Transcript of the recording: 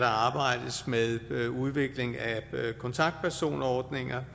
arbejdes med udvikling af kontaktpersonordninger